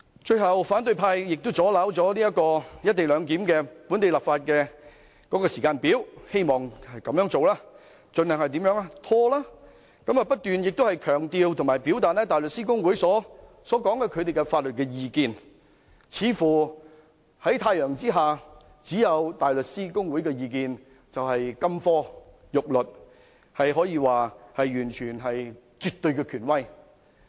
最後，反對派亦阻撓了"一地兩檢"的本地立法時間表，希望藉此盡量拖延，不斷強調和表達香港大律師公會所提出的法律意見，似乎在太陽之下只有其意見才是金科玉律，可說是絕對權威。